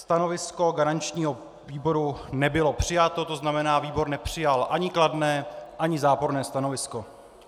Stanovisko garančního výboru nebylo přijato, to znamená, výbor nepřijal ani kladné, ani záporné stanovisko.